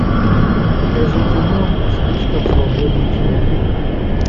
покажи кино слишком свободный человек